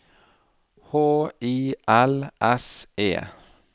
H I L S E